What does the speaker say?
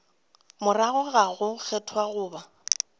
morago ga go kgethwa goba